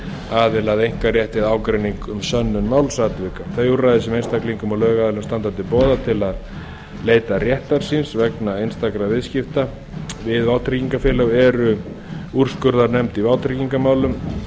aðila að einkarétti eða ágreiningi um sönnun málsatvika þau úrræði sem einstaklingum og lögaðilum standa til boða til að leita réttar síns vegna einstakra viðskipta við vátryggingafélög eru úrskurðarnefnd í vátryggingamálum